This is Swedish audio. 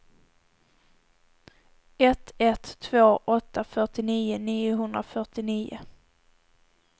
ett ett två åtta fyrtionio niohundrafyrtionio